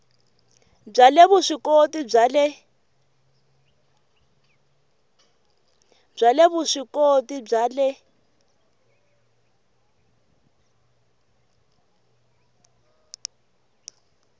bya le vuswikoti bya le